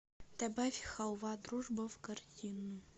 добавь халва дружба в корзину